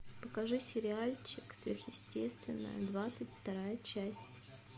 покажи сериальчик сверхъестественное двадцать вторая часть